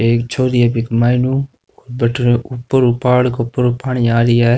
एक छोरी है मईनु भटीने ऊपर पहाड़ का ऊपर पानी आ रेहा है।